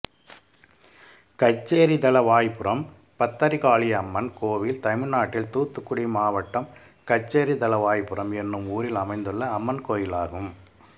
கச்சேரிதளவாய்புரம் பத்ரகாளியம்மன் கோயில் தமிழ்நாட்டில் தூத்துக்குடி மாவட்டம் கச்சேரிதளவாய்புரம் என்னும் ஊரில் அமைந்துள்ள அம்மன் கோயிலாகும்